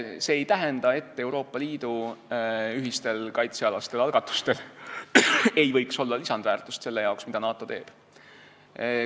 See ei tähenda, et Euroopa Liidu ühistel kaitsealastel algatustel ei võiks olla lisandväärtust selle jaoks, mida NATO teeb.